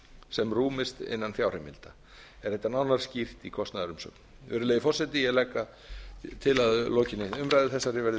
sem rúmist innan fjárheimilda er þetta nánar skýrt í kostnaðarumsögn virðulegi forseti ég legg til að að lokinni umræðu þessari verði